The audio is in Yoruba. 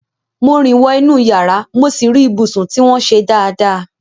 Mo rìn wọ inú yàrá mo sì rí ibùsùn tí wọ́n ṣe dáadáa.